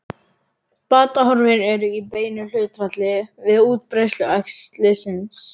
Batahorfur eru í beinu hlutfalli við útbreiðslu æxlisins.